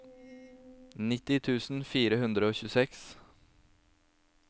nitti tusen fire hundre og tjueseks